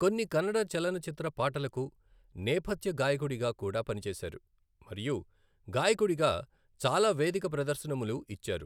కొన్ని కన్నడ చలనచిత్ర పాటలకు నేపథ్య గాయకుడిగా కూడా పనిచేశారు మరియు గాయకుడిగా చాలా వేదిక ప్రదర్శనములు ఇచ్చారు.